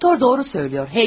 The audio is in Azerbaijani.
Doktor doğru söylüyor.